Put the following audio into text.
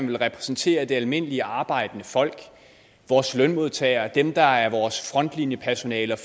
vil repræsentere det almindelige arbejdende folk vores lønmodtagere dem der er vores frontlinjepersonale